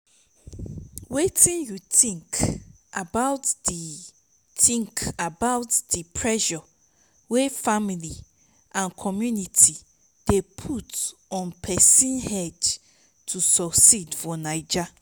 wetin you think about di think about di pressure wey family and community dey put on pesin head to succeed for naija?